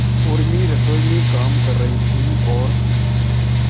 उर्मी रसोई में काम कर रही थी और